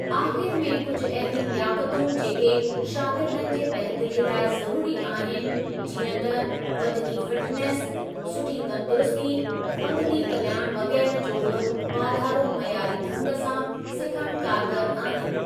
आख़िर में कुझु अहिड़ियूं लियाकतूं जेके शागिर्दनि जे बहितरीअ लाइ ज़रूरी आहिनि, जीअं त बदनी फिटनेस, सुठी तंदुरुस्ती, पंगिती कल्याणु वग़ैरह जो बि वाधारो मयारी ढंग सां सिखणु कारगर आहिनि।